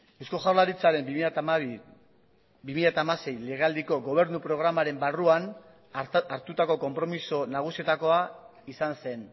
eusko jaurlaritzaren bi mila hamabi bi mila hamasei legealdiko gobernu programaren barruan hartutako konpromiso nagusietakoa izan zen